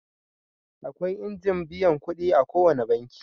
Akwai injin biyan kuɗi a ko wane banki.